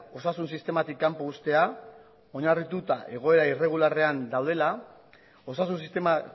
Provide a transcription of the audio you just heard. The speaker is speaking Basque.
osasun sistematik kanpo uztea oinarrituta egoera irregularrean daudela osasun sistema